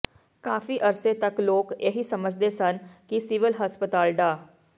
ਕਾਫ਼ੀ ਅਰਸੇ ਤਕ ਲੋਕ ਇਹੀ ਸਮਝਦੇ ਸਨ ਕਿ ਸਿਵਲ ਹਸਪਤਾਲ ਡਾ